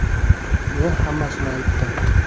Men hammasini aytdim”.